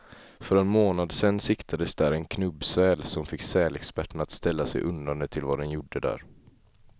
För en månad sedan siktades där en knubbsäl, som fick sälexperterna att ställa sig undrande till vad den gjorde där.